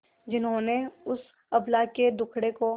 जिन्होंने उस अबला के दुखड़े को